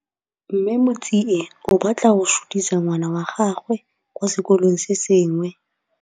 Mme Motsei o batla go sutisa ngwana wa gagwe kwa sekolong se sengwe.